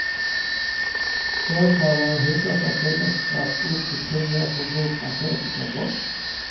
De åtalade hotas av fängelsestraff på upp till tio år för grovt narkotikabrott.